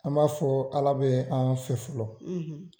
An b'a fɔ Ala bɛ an fɛ fɔlɔ, .